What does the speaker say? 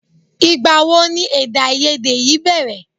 Ìgbàwo ni èdèàìyedè yìí bẹ̀rẹ̀?